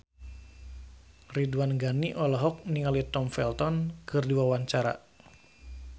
Ridwan Ghani olohok ningali Tom Felton keur diwawancara